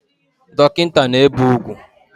Dokinta na-ebe ugwu